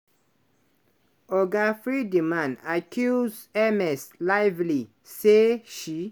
oga free-d-man accuse ms lively say she